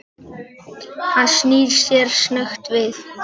Hann snýr sér snöggt við.